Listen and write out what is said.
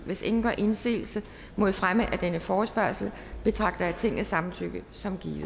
hvis ingen gør indsigelse mod fremme af denne forespørgsel betragter jeg tingets samtykke som givet